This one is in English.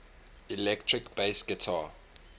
electric bass guitar